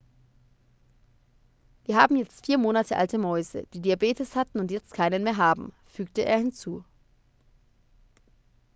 wir haben jetzt 4 monate alte mäuse die diabetes hatten und jetzt keinen mehr haben fügte er hinzu